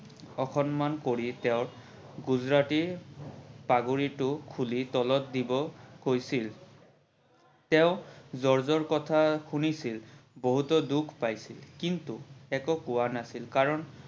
অসন্মান কৰি তেওৰ গুজৰাটী পাগুৰিতো খোলি তলত দিব কৈছিল। তেও জৰ্জৰ কথা শুনিছিল বহুতো দুখ পাইছিল কিন্তু একো কোৱা নাছিল কাৰন